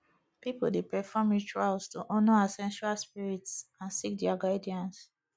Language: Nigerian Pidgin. pipo dey perform rituals to honor ancestral spirits and seek dia guidance